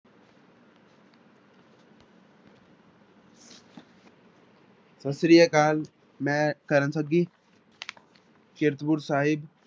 ਸਤਿ ਸ੍ਰੀ ਅਕਾਲ ਮੈਂ ਕਰਨ ਸੱਗੀ ਕੀਰਤਪੁਰ ਸਾਹਿਬ